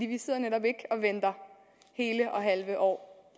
vi sidder netop ikke og venter hele og halve år